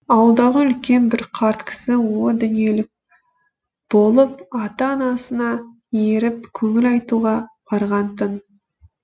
ауылдағы үлкен бір қарт кісі о дүниелік болып ата анасына еріп көңіл айтуға барған тын